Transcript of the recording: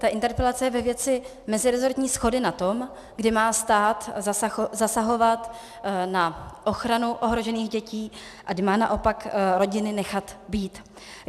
Ta interpelace je ve věci meziresortní shody na tom, kdy má stát zasahovat na ochranu ohrožených dětí a kdy má naopak rodiny nechat být.